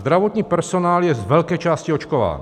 Zdravotní personál je z velké části očkován.